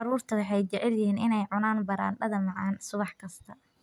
Carruurtu waxay jecel yihiin inay cunaan baradhada macaan subax kasta.